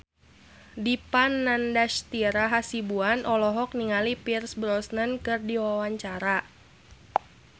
Dipa Nandastyra Hasibuan olohok ningali Pierce Brosnan keur diwawancara